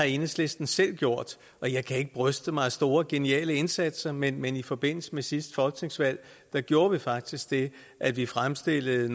enhedslisten selv har gjort og jeg kan ikke bryste mig af store geniale indsatser men men i forbindelse med sidste folketingsvalg gjorde vi faktisk det at vi fremstillede